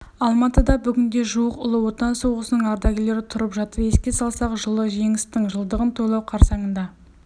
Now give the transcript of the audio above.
алматыда бүгінде жуық ұлы отан соғысының ардагерлері тұрып жатыр еске салсақ жылы жеңістің жылдығын тойлау қарсаңында